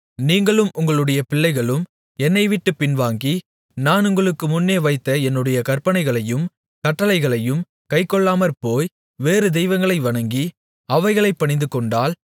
நீங்களும் உங்களுடைய பிள்ளைகளும் என்னைவிட்டுப் பின்வாங்கி நான் உங்களுக்கு முன்னே வைத்த என்னுடைய கற்பனைகளையும் கட்டளைகளையும் கைக்கொள்ளாமற்போய் வேறு தெய்வங்களை வணங்கி அவைகளைப் பணிந்துகொண்டால்